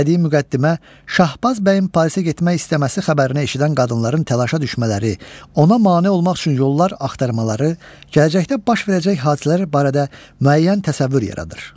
Bədii müqəddimə, Şahbaz bəyin Parisə getmək istəməsi xəbərini eşidən qadınların təlaşa düşmələri, ona mane olmaq üçün yollar axtarmaları, gələcəkdə baş verəcək hadisələr barədə müəyyən təsəvvür yaradır.